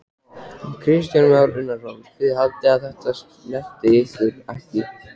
Kristján Már Unnarsson: Þið haldið að þetta snerti ykkur ekki?